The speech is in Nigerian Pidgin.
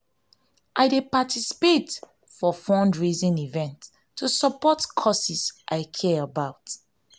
i dey participate for fundraising events to support causes i care about.